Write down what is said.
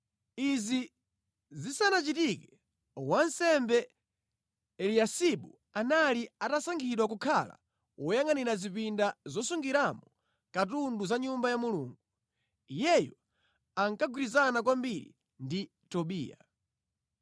Izi zisanachitike, wansembe Eliyasibu anali atasankhidwa kukhala woyangʼanira zipinda zosungiramo katundu za Nyumba ya Mulungu. Iyeyu ankagwirizana kwambiri ndi Tobiya.